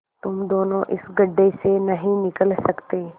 तुम दोनों इस गढ्ढे से नहीं निकल सकते